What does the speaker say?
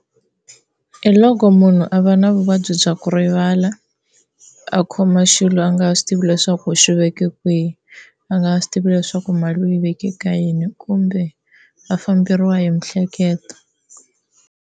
Hi loko munhu a va na vuvabyi bya ku rivala a khoma xilo a nga ha swi tivi leswaku u swi veke kwihi, a nga ha swi tivi leswaku mali u yi veke ka yini kumbe a famberiwa hi miehleketo.